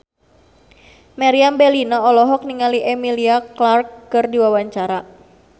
Meriam Bellina olohok ningali Emilia Clarke keur diwawancara